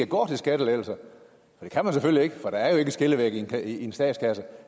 går til skattelettelser det kan man selvfølgelig ikke for der er jo ikke en skillevæg i en statskasse